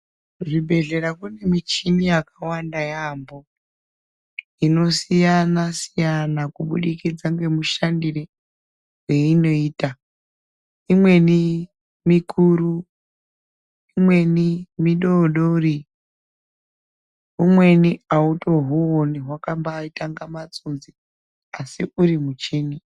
Kuzvibhehlera kune michini yakawanda yaamho inosiyana -siyana kubudikidza ngemushandire weinoita. Imweni mikuru, imweni midodori umweni autohuoni hwakaita kunga matsunzi asi uri muchini.